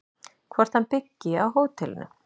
Hvort hann byggi á hótelinu?